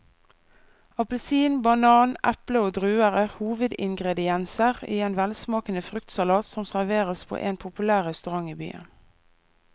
Appelsin, banan, eple og druer er hovedingredienser i en velsmakende fruktsalat som serveres på en populær restaurant i byen.